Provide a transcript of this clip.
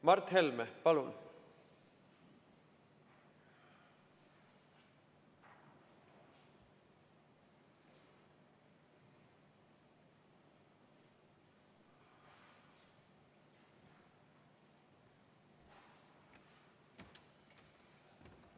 Mart Helme, palun!